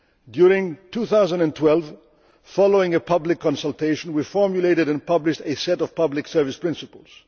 During 2012, following a public consultation, we formulated and published a set of public service principles.